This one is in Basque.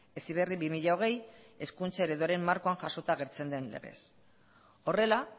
heziberri bi mila hogei hizkuntza ereduaren markoan jasota agertzen den legez horrela